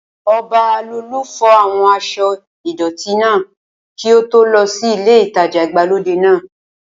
Ọbalolú fọ àwọn aṣọ́ ìdọ̀tí náà kí ó tó lọ sí ilé ìtajà ìgbàlódé náà